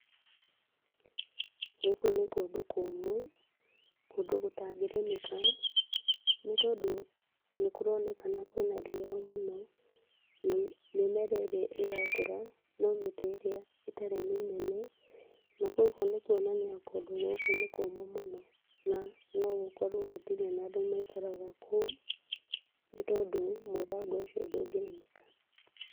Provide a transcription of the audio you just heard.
Gũkũ nĩ kũndũ kũmũ, kũndũ gũtangĩrĩmĩka nĩ tondũ nĩ kũroneka kũrĩ na riua mũno, na mĩmera ĩrĩa ĩrakũra ta ĩrĩa ĩtarĩ mĩnene, na kũgwo nĩkwonania kũndũ gũkũ nĩ kũmũ mũno, na nogũkorwo gũtirĩ na andũ maikaraga kũu, nĩ tondũ mũthanga ũcio ndũgĩrĩmĩka.